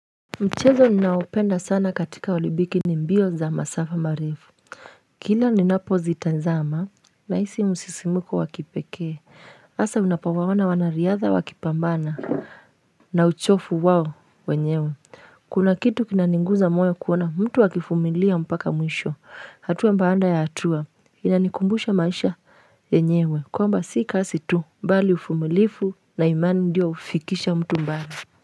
Mchezo ninaopenda sana katika olimpiki ni mbio za masafa marifu Kila nina pozitanzama na hisi msisimuko wakipekee hasa unapowaoana wanariadha wakipambana na uchofu wao wenyewe Kuna kitu kinaniguza moyo kuona mtu akivumilia mpaka mwisho hatua baada ya hatua inanikumbusha maisha yenyewe kwamba si kazi tu mbali uvumilivu na imani ndio hufikisha mtu mbali.